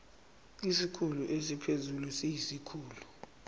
isikhulu esiphezulu siyisikhulu